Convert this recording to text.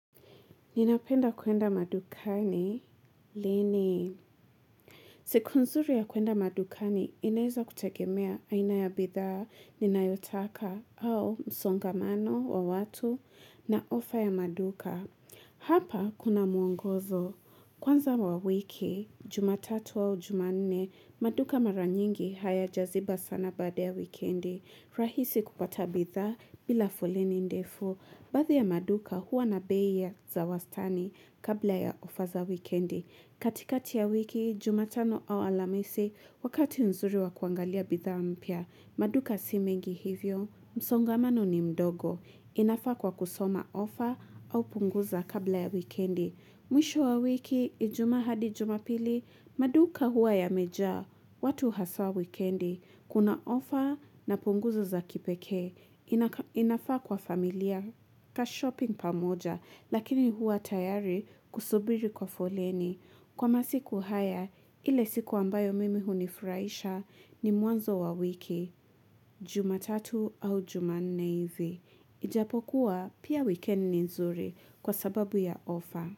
Ninapenda kuenda madukani, lini. Siku nzuri ya kuenda madukani, inaeza kutegemea aina ya bidhaa, ninayotaka, au msongamano wa watu, na ofa ya maduka. Hapa kuna muongozo. Kwanza wa wiki, jumatatu au jumanne, maduka mara nyingi hayajaziba sana baada ya wikendi. Rahisi kupata bidhaa bila foleni ndefu. Baadhi ya maduka huwa na bei ya za wastani kabla ya ofa za wikendi. Katikati ya wiki, jumatano au alamisi, wakati nzuri wa kuangalia bidhaa mpya, maduka si mengi hivyo. Msongamano ni mdogo, inafaa kwa kusoma ofa au punguza kabla ya wikendi. Mwisho wa wiki, ijumaa hadi jumapili, maduka huwa yamejaa, watu hasaa wikendi. Kuna offer na punguzo za kipekee, inafaa kwa familia ka shopping pamoja, lakini huwa tayari kusubiri kwa foleni. Kwa masiku haya, ile siku ambayo mimi hunifuraisha ni mwanzo wa wiki, jumatatu au jumanne hivi. Ijapokuwa pia weekend ni nzuri kwa sababu ya offer.